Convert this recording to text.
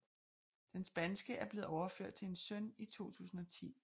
Den spanske er blevet overført til en søn i 2010